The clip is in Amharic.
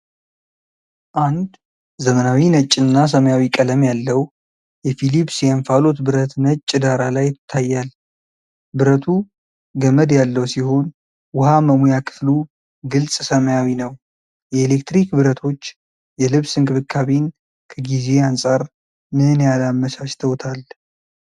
አንድ ዘመናዊ ነጭና ሰማያዊ ቀለም ያለው የፊሊፕስ የእንፋሎት ብረት ነጭ ዳራ ላይ ይታያል። ብረቱ ገመድ ያለው ሲሆን ውሃ መሙያ ክፍሉ ግልጽ ሰማያዊ ነው። የኤሌክትሪክ ብረቶች የልብስ እንክብካቤን ከጊዜ አንፃር ምን ያህል አመቻችተውታል?